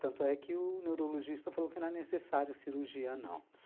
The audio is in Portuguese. Tanto é que o neurologista falou que não é necessário cirurgia, não.